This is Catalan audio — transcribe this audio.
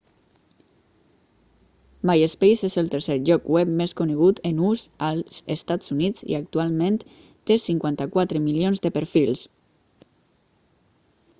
myspace és el tercer lloc web més conegut en ús als estats units i actualment té 54 milions de perfils